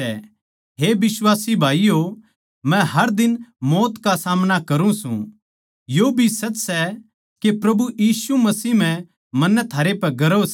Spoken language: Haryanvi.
हे बिश्वासी भाईयो मै हर दिन मौत का सामना करुँ सूं यो भी सच सै के प्रभु यीशु मसीह म्ह मन्नै थारे पै गर्व सै